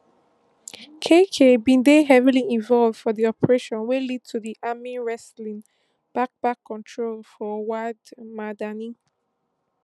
kaikal bin dey heavily involved for di operation wey lead to di army wrestling back back control of wad madani